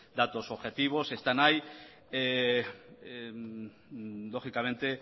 datos objetivos están ahí lógicamente